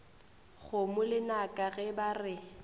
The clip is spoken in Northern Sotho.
kgomo lenaka ge ba re